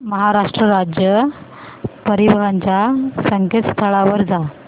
महाराष्ट्र राज्य परिवहन च्या संकेतस्थळावर जा